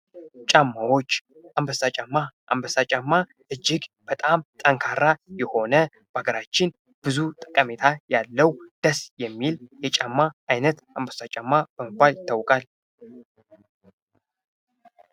አንበሳ ጫማ እጅግ በጣም ጠንካራ የሆነ፤ በሀገራችን ብዙ ጠቀሜታ ያለው ደስ የሚል የጫማ አይነት አንበሳ ጫማ በመባል ይታወቃል ።